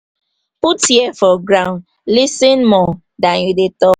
put ear for ground lis ten more then you dey talk